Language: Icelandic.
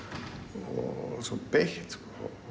og svo beitt